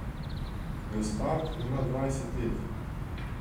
Gaspard ima dvajset let.